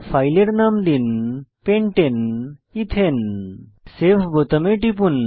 ফাইলের নাম দিন pentane এথানে সেভ বোতামে টিপুন